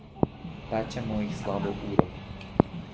Pečemo jih slabo uro.